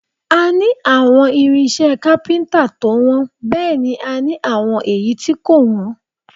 A ní àwọn irinṣẹ́ kápíntà tó wọ́n bẹ́ẹ̀ ni a ní àwọn èyí tí kò wọ́n